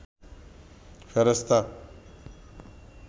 ফেরেশতা